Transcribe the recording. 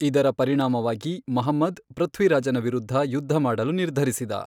ಇದರ ಪರಿಣಾಮವಾಗಿ ಮಹಮ್ಮದ್ ಪೃಥ್ವಿರಾಜನ ವಿರುದ್ಧ ಯುದ್ಧ ಮಾಡಲು ನಿರ್ಧರಿಸಿದ.